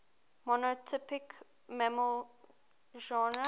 monotypic mammal genera